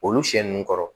Olu sɛ ninnu kɔrɔ